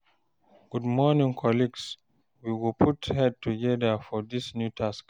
Good morning colleagues, we go put head togeda for dis new task